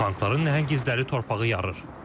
Tankların nəhəng izləri torpağı yarır.